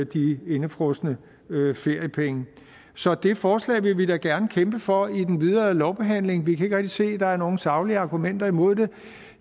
de indefrosne feriepenge så det forslag vil vi da gerne kæmpe for i den videre lovbehandling vi kan ikke rigtig se at der er nogle saglige argumenter imod det